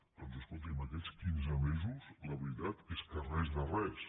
doncs escolti’m aquests quinze mesos la veritat és que res de res